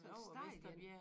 Sådan stejl én